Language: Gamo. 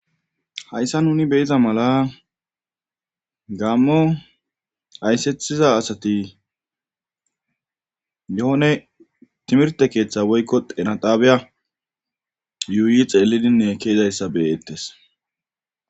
hayssa nuni beyiza mala gammo ayssethiza asati yoone timirte keeththa woykko denadaabiya yuuyi xeelidinne keezayssa beyettes